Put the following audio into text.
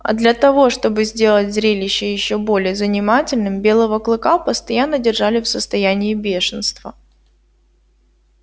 а для того чтобы сделать зрелище ещё более занимательным белого клыка постоянно держали в состоянии бешенства